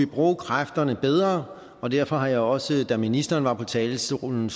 bruge kræfterne bedre og derfor har jeg også da ministeren var på talerstolen